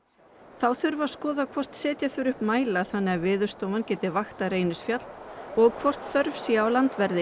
þá þurfi að skoða hvort setja þurfi upp mæla þannig að Veðurstofan geti vaktað Reynisfjall og hvort þörf sé á landverði